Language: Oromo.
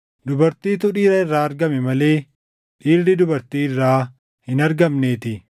Dubartiitu dhiira irraa argame malee dhiirri dubartii irraa hin argamneetii;